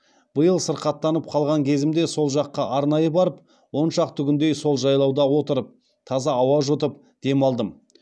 биыл сырқаттанып қалған кезімде сол жаққа арнайы барып он шақты күндей сол жайлауда отырып таза ауа жұтып демалдым